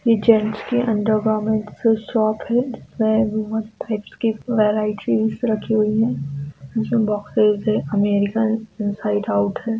यह जेंट्स की undergarments shop है जिसमे बहुत टाइप्स की वैरायटीज रखी हुई है| मिशन बॉक्स साइज है अमेरिकन इनसाइड आउट है।